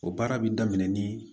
O baara bɛ daminɛ ni